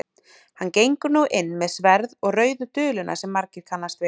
hann gengur nú inn með sverð og rauðu duluna sem margir kannast við